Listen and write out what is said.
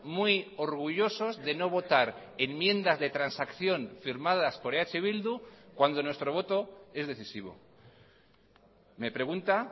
muy orgullosos de no votar enmiendas de transacción firmadas por eh bildu cuando nuestro voto es decisivo me pregunta